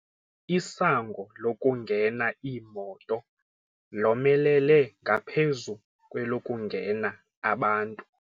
Isango lokungena iimoto lomelele ngaphezu kwelokungena abantu.